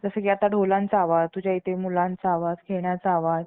काम सुरु असल्याने dad अलीकडेच गोळ~ गाडी लावून जात आले. आत आले. आणि त्यावेळी आम्ही still च्या भांडयावरून